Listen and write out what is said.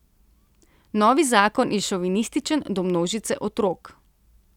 Novi zakon je šovinističen do množice otrok.